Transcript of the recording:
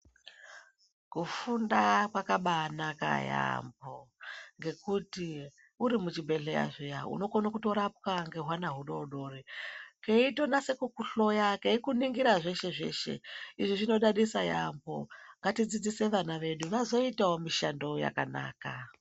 Kufunda kwakabaanaka yaambo ngekuti uri muchibhedhleya zviya unokone kutorapwa nhehuana hudodori keitonasa kukuhloya keikuningira zveshezveshe izvi zvinodadisa yaambo ngatidzidzise vana vedu vazoitawo mishando yakanaka.